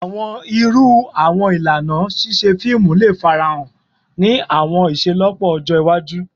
Awọn iru awọn ilana ṣiṣe fiimu le farahan ni awọn iṣelọpọ ọjọ iwaju?